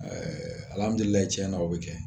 Ɛɛ tiɲɛ na o bɛ kɛ